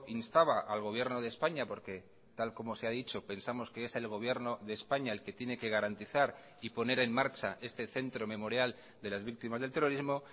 instaba al gobierno de españa porque tal como se ha dicho pensamos que es el gobierno de españa el que tiene que garantizar y poner en marcha este centro memorial de las víctimas del terrorismo